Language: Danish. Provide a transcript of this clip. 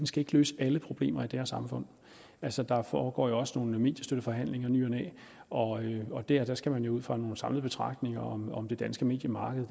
skal løse alle problemer i det her samfund altså der foregår jo også nogle mediestøtteforhandlinger i ny og næ og der skal man jo ud fra nogle samlede betragtninger om om det danske mediemarked